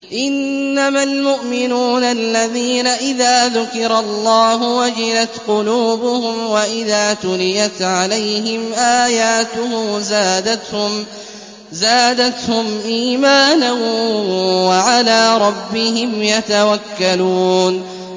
إِنَّمَا الْمُؤْمِنُونَ الَّذِينَ إِذَا ذُكِرَ اللَّهُ وَجِلَتْ قُلُوبُهُمْ وَإِذَا تُلِيَتْ عَلَيْهِمْ آيَاتُهُ زَادَتْهُمْ إِيمَانًا وَعَلَىٰ رَبِّهِمْ يَتَوَكَّلُونَ